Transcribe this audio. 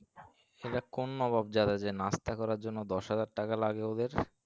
এরা কোন নবাব যারা যে নাস্তা করার জন্য দশ হাজার টাকা লাগবে ওদের?